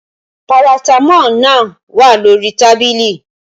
Paratamọ́ọ̀ náà wà lórí tábìlì